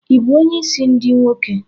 Ị bụ onye isi ndi nwoke?